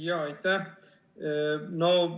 Jaa, aitäh!